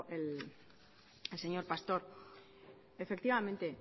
el señor pastor efectivamente